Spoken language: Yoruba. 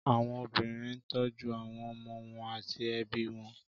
Àwọn obìnrin ń tọ́jú àwọn ọmọ wọn àti ẹbí wọn